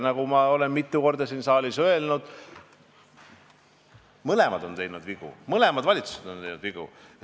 Nagu ma olen mitu korda siin saalis öelnud, mõlemad valitsused on teinud vigu.